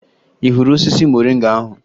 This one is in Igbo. Ị hụrụ osisi moringa ahụ?